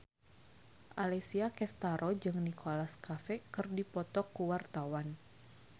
Alessia Cestaro jeung Nicholas Cafe keur dipoto ku wartawan